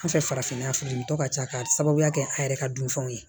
An fɛ farafinna furu ka ca ka sababuya kɛ an yɛrɛ ka dunfɛnw ye